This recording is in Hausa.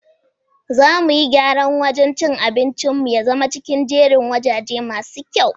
Za mu yi gyran wajan cin abincin nu ya zama cikin jerin wajaje masu kyau.